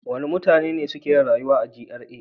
Wane mutane ne suke rayuwa a GRA?